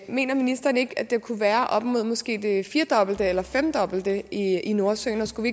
mener ministeren ikke at det kunne være op mod måske det firedobbelte eller femdobbelte i nordsøen og skulle